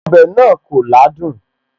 Ọbẹ̀ náà kò ládùn